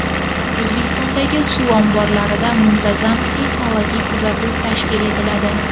O‘zbekistondagi suv omborlarida muntazam seysmologik kuzatuv tashkil etiladi.